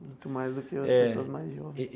Muito mais do que as pessoas mais jovens.